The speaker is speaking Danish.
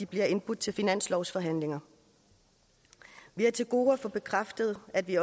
bliver indbudt til finanslovsforhandlinger vi har til gode at få bekræftet at vi